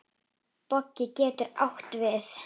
Bogi getur átt við